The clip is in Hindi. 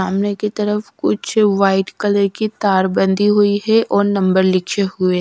सामने की तरफ कुछ व्हाइट कलर की तारबंदी हुई है और नंबर लिखे हुए--